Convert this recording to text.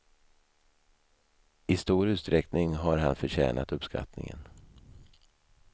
I stor utsträckning har han förtjänat uppskattningen.